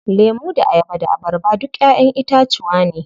Lemu da ayaba da abarba duk ƴaƴen itacuwa ne.